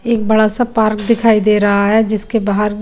एक बड़ा सा पार्क दिखाई दे रहा हे जिसके बाहर --